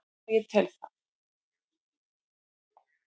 Já ég tel það.